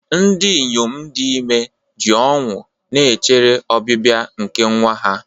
Ndị inyom dị ime ji ọṅụ na-echere ọbịbịa nke nwa ha.